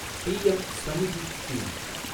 PM Svanidhi scheme